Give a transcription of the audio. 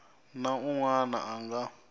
na un wana a nga